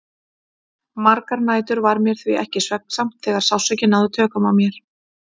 Margar nætur varð mér því ekki svefnsamt þegar sársaukinn náði tökum á mér.